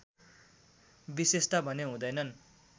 विशेषता भने हुँदैन